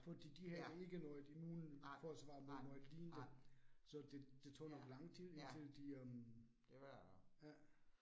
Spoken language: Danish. Fordi de havde ikke noget immunforsvar mod noget lignende, så det det tog nok lang tid indtil de øh, ja